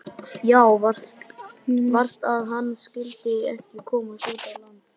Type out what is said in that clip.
Já, verst að hann skyldi ekki komast út á land.